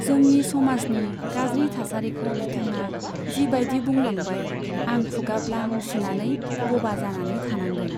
जोंनि समाजनि गाज्रि थासारिखौ बिथाङा जिबाइदि बुंलांबाय, आं खुगा ब्लां सिनानै बबा जानानै थानांदों।